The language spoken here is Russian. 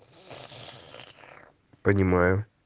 понимаю